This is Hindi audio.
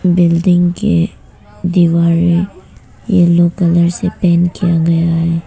बिल्डिंग के दीवारें येलो कलर से पेंट किया गया है।